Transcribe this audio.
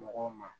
Mɔgɔw ma